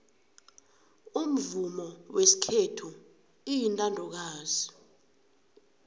umvumo wesikhethu uyintandokazi